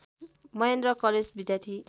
Mahendra college विद्यार्थी